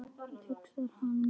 hugsar hann með sér.